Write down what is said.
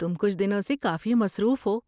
تم کچھ دنوں سے کافی مصروف ہو۔